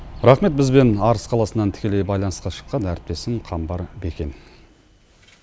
рахмет бізбен арыс қаласынан тікелей байланысқа шыққан әріптесім қамбар бикен